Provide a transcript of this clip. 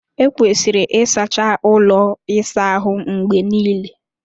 Ekwesịrị ịsacha ụlọ ịsa ahụ mgbe niile.